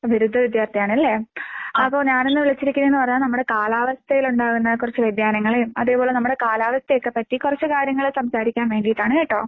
ബിരുദ വിദ്യാർത്ഥിയാണ് അല്ലേ? അപ്പൊ ഞാനിന്ന് വിളിച്ചിരിക്കണേന്ന് പറഞ്ഞ നമ്മുടെ കാലാവസ്ഥയിലുണ്ടാകുന്ന കൊറച്ച് വ്യതിയാനങ്ങളെയും, അതേപോലെ നമ്മുടെ കാലാവസ്ഥയൊക്കെപ്പറ്റി കൊറച്ച് കാര്യങ്ങള് സംസാരിക്കാൻ വേണ്ടിയിട്ടാണ് കേട്ടോ.